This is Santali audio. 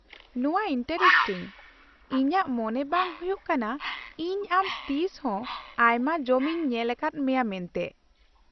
ᱱᱚᱶᱟ ᱤᱱᱴᱟᱨᱮᱥᱴᱤᱝ, ᱤᱧᱟᱹᱜ ᱢᱚᱱᱮ ᱵᱟᱝ ᱦᱩᱭᱩᱜ ᱠᱟᱱᱟ ᱤᱧ ᱟᱢ ᱛᱤᱥ ᱦᱚᱸ ᱟᱭᱢᱟ ᱡᱚᱢ ᱤᱧ ᱧᱮᱞᱟᱠᱟᱫ ᱢᱮᱭᱟ ᱢᱮᱱᱛᱮ ᱾